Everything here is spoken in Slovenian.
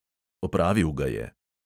Opravil ga je.